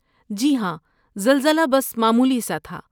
جی ہاں، زلزلہ بس معمولی سا تھا۔